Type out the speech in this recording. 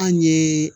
An ye